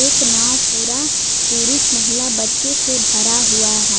एक नाव पूरा पुरुष महिला बच्चे से भरा हुआ है।